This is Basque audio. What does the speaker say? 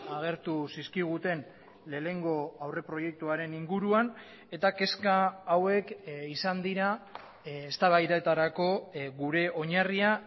agertu zizkiguten lehenengo aurreproiektuaren inguruan eta kezka hauek izan dira eztabaidetarako gure oinarria